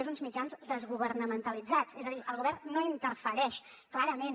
són uns mitjans desgovernamentalitzats és a dir el govern no hi interfereix clarament